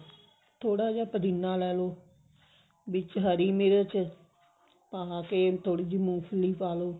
ਥੋੜਾ ਜਾ ਪੁਦੀਨਾ ਲੈਲੋ ਵਿੱਚ ਹਰੀ ਮਿਰਚ ਆਹ ਫ਼ੇਰ ਥੋੜੀ ਜੀ ਮੂੰਗਫਲੀ ਪਾ ਲਓ